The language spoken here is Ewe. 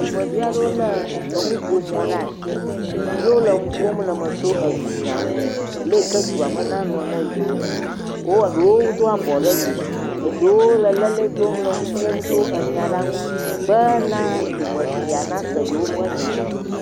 dumeviaɖewo le ŋuƒomɔ ɖasi ye wóle eŋuƒom leme tso edunya ŋu leyike eduame nanɔ ne yowo wó eɖewo dó abɔ ɖe dzi eɖewo leleli dom le ŋuƒom tso nyala ŋu bena dumefia nase yewo ƒe nya